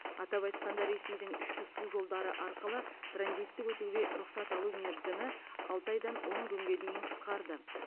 атап айтқанда ресейдің ішкі су жолдары арқылы транзиттік өтуге рұқсат алу мерзімі алты айдан он күнге дейін қысқарды